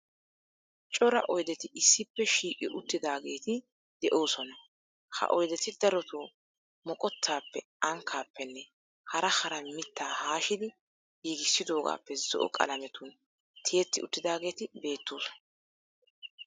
Cora oydeti issippe shiiqi uttidaageeti de'oosona. Ha oydeti darotoo moqottaappe, ankkaappenne hara hara mittaa haashidi giigissidoogaappe zo"o qalametun tiyetti uttidaageeti beettoosona.